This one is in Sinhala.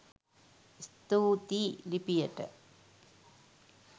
ස්තුතියි ලිපියට